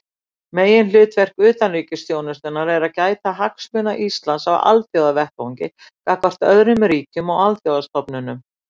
Meginhlutverk utanríkisþjónustunnar er að gæta hagsmuna Íslands á alþjóðavettvangi gagnvart öðrum ríkjum og alþjóðastofnunum.